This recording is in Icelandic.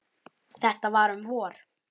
Þetta var um vor.